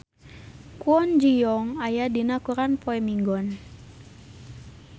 Kwon Ji Yong aya dina koran poe Minggon